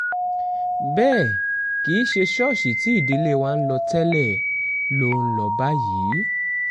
bẹ́ẹ̀ kì í ṣe ṣọ́ọ̀ṣì tí ìdílé wa ń lọ tẹ́lẹ̀ ló ń lọ báyìí